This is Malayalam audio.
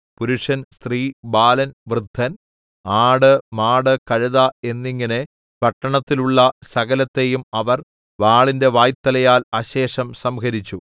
പുരുഷൻ സ്ത്രീ ബാലൻ വൃദ്ധൻ ആട് മാട് കഴുത എന്നിങ്ങനെ പട്ടണത്തിലുള്ള സകലത്തെയും അവർ വാളിന്റെ വായ്ത്തലയാൽ അശേഷം സംഹരിച്ചു